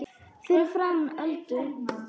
Fyrir framan Öldu.